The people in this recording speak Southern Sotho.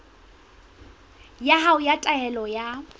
ya hao ya taelo ya